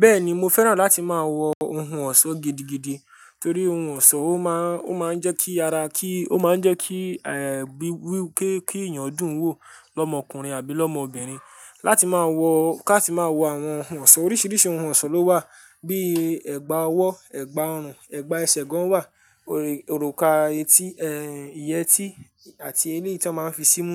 Bẹ́ẹ̀ni, mo fẹ́ràn láti máa wọ ohun ọ̀ṣọ́ gidigidi torí ohun ọ̀ṣọ́ ó máa ń, ó máa ń jẹ́ kí ara kí, ó máa ń jẹ́ kí, ẹ, bí, wípé kí èèyàn dùn wò lọ́mọkùnrin àbí lọ́mọbìnrin. Láti máa wọ, ká ti máa wọ àwọn ohun ọ̀ṣọ́, oríṣiríṣi ohun ọ̀ṣọ́ ló wà, bíi ẹ̀gbà ọwọ́, ẹ̀gbà ọrùn, ẹ̀gbà ẹsẹ̀ gan wà, òrùka etí, ẹ, ìyẹ́ tí àti elé tí a máa ń fi sí mú.